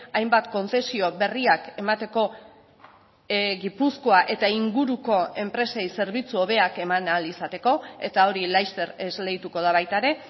hainbat kontzezio berriak emateko gipuzkoa eta inguruko enpresei zerbitzu hobeak eman ahal izateko eta hori laster esleituko da baita ere